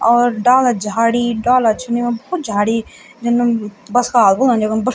और डाला झाड़ी डाला छन येमा भौत झाड़ी जन हम बस्काल बुल्दन येकुम बश --